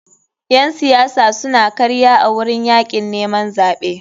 Ƴen siyasa suna karya a wurin yakin neman zaɓe.